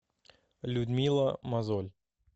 людмила мозоль